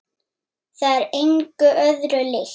Það er engu öðru líkt.